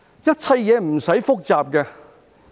一切事情無須複雜。